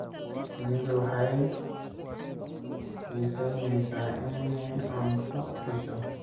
Shinnidu waxay xiisaynaysaa inay cunto hesho.